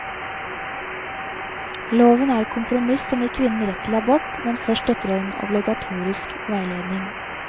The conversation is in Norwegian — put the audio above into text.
Loven er et kompromiss som gir kvinnen rett til abort, men først etter en obligatorisk veiledning.